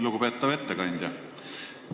Lugupeetav ettekandja!